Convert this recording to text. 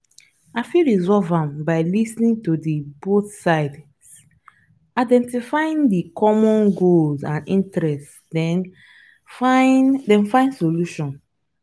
i fit resolve am by lis ten ing to di both sides identifying di common goals and interests then find then find solution.